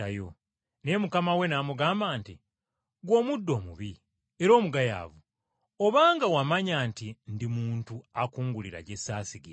“Naye mukama we n’amugamba nti, ‘Ggwe omuddu omubi era omugayaavu! Obanga wamanya nti ndi muntu akungulira gye ssaasigira,